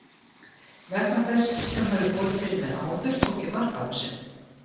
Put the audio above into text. Vegna þess sem hafði borið fyrir mig áður tók ég mark á þessu.